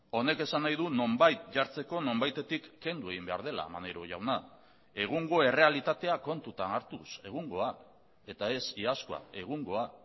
honek esan nahi du nonbait jartzeko nonbaitetik kendu egin behar dela maneiro jauna egungo errealitatea kontutan hartuz egungoa eta ez iazkoa egungoa